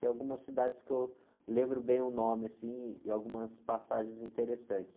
Tem algumas cidades que eu lembro bem o nome, assim, e algumas passagens interessantes.